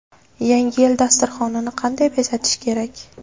Yangi yil dasturxonini qanday bezatish kerak?.